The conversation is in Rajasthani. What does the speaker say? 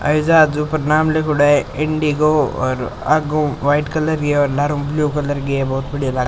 हवाई जहाज ऊपर नाम लिख्योड़ो है इंडिगो और आगू वाइट कलर री है और लारु ब्लू कलर की है बहोत बढ़िया लाग --